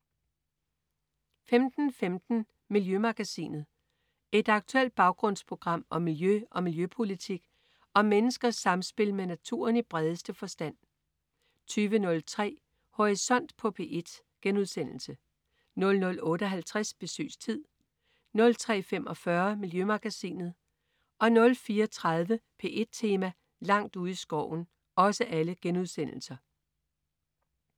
15.15 Miljømagasinet. Et aktuelt baggrundsprogram om miljø og miljøpolitik og om menneskers samspil med naturen i bredeste forstand 20.03 Horisont på P1* 00.58 Besøgstid* 03.45 Miljømagasinet* 04.30 P1 Tema: Langt ude i skoven*